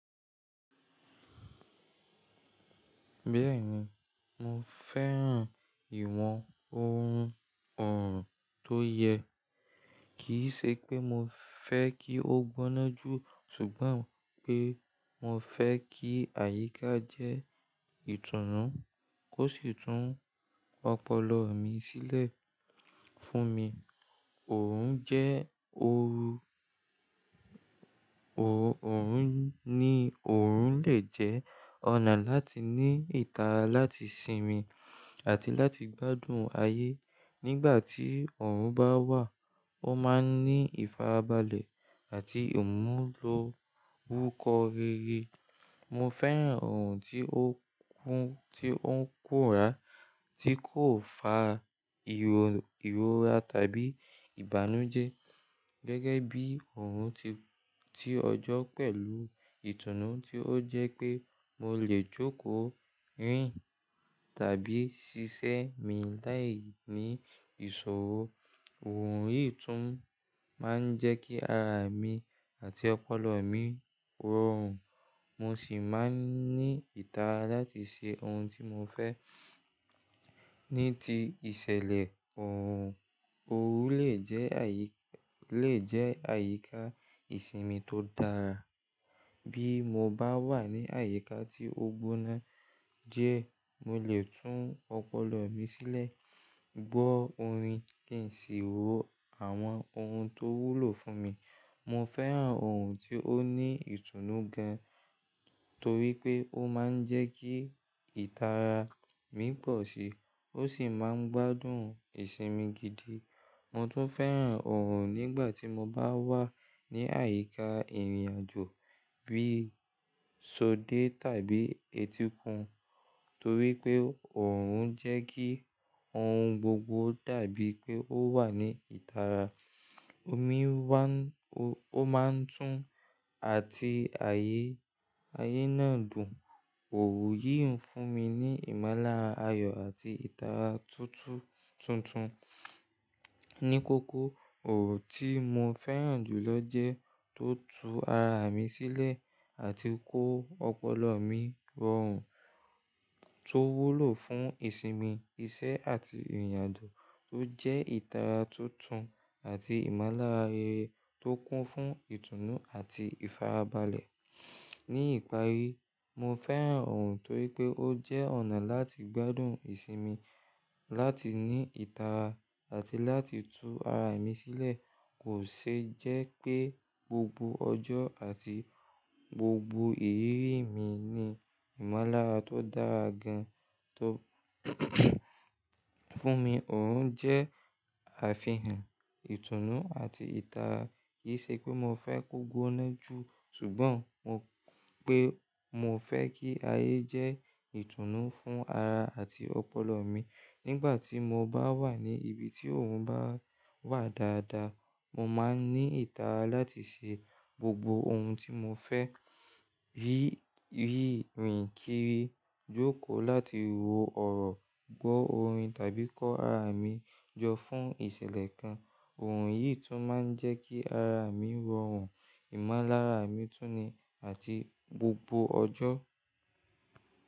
Bẹ́ẹ̀ni, mo fẹ́ràn ìwọ̀n ohun ọ̀ọ̀rùn tó yẹ. Kì í ṣe pé mo fẹ́ kí ó gbóná jù, ṣùgbọ́n pé mo fẹ́ kí àyíká jẹ́ ìtùnú, kó sì tún ọpọlọ mi sílẹ̀ fún mi. Òrun jẹ́ ooru, òòrùn ni òòrùn lè jẹ́ ọ̀nà láti ní ìtara láti sinmi àti láti gbádùn ayé. Nígbà tí ọ̀ọ̀rùn bá wà, ó máa ń ní ìfarabalẹ̀ àti ìmúlò orúkọ rere. Mo fẹ́ràn ọ̀ọ̀rùn tí ó kún, tí ó ń kùrá, tí kò fa ìróra tàbí ìbànújẹ́. Gẹ́gẹ́ bí ọ̀ọ̀rùn ti ọjọ́ pẹ̀lú ìtùnú tí ó jẹ́ pé mo lè jókòó, rìn tàbí ṣiṣẹ́ mi láì ní ìṣòro. Òòrùn yìí tún máa ń jẹ́ kí ara mi àti ọpọlọ mi rọrùn, mo sì máa ń ní ìtara láti ṣe ohun tí mo fẹ́ ní ti ìṣẹ̀lẹ̀ ọ̀ọ̀rùn. Òòrùn lè jẹ́ àyíká ìsinmi tó dára. Bí mo bá wà ní àyíká tí ó gbóná jẹ, mo lè tún ọpọlọ mi sílẹ̀, gbọ́ orin kì í sì wo àwọn ohun tó wúlò fún mi. Mo fẹ́ràn ọ̀ọ̀rùn tí ó ní ìtùnú gan, torí pé ó máa ń jẹ́ kí ìtara mi pọ̀ síi, ó sì máa ń gbádùn ìsinmi gidi. Mo tún fẹ́ràn ọ̀ọ̀rùn nígbà tí mo bá wà ní àyíká ìrìnàjò bí i sóde tàbí etíkun. Torí pé ọ̀ọ̀rùn jẹ́ kí ohun gbogbo dàbí pé ó wà ní ìtara. Omi máa ń tún àti ayé náà dùn. Òòrùn yìí ń fún mi ní ìmọ́lára ayọ̀ àti ìtara tuntun. Ní kókó, ọ̀ọ̀rùn tí mo fẹ́ràn jù lọ jẹ́ tó tú ara mi sílẹ̀ àti kó ọpọlọ mi rọrùn, tó wúlò fún ìsinmi, iṣẹ́ àti ìrìnàjò, tó jẹ́ ìtara tuntun àti ìmọ́lára rere tó kún fún ìtùnú àti ìfarabalẹ̀. Ní ìparí, mo fẹ́ràn ọ̀ọ̀rùn torí pé ó jẹ́ ọ̀nà láti gbádùn ìsinmi, láti ní ìtara àti láti tú ara mi sílẹ̀. Kò ṣe jẹ́ pé gbogbo ọjọ́ àti gbogbo ìrírí mi ní ìmọ́lára tó dára gan fún mi. Òòrùn jẹ́ àfihàn ìtùnú àti ìtara. Kì í ṣe pé mo fẹ́ kó gbóná jù, ṣùgbọ́n pé mo fẹ́ kí ayé jẹ́ ìtùnú fún ara àti ọpọlọ mi. Nígbà tí mo bá wà ní ibi tí ọ̀ọ̀rùn bá wà dáadáa, mo máa ń ní ìtara láti ṣe gbogbo ohun tí mo fẹ́, rírìn kiri, jókòó láti wo ọ̀rọ̀, gbọ́ orin tàbí kọ́ ara mi jọ fún ìṣẹ̀lẹ̀ kan. Òòrùn yìí tún máa ń jẹ́ kí ara mi rọrùn, ìmọ́lára mi túnni àti gbogbo ọjọ́.